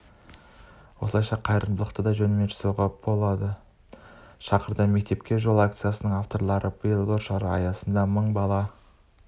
осылайша қайырымдылықты да жөнімен жасауға шақырды мектепке жол акциясының авторлары биыл бұл шара аясында мың бала